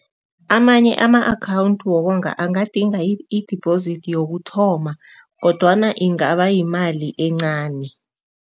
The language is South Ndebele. Amanye ama-account wokonga angadinga i-deposit yokuthoma kodwana ingaba yimali encani.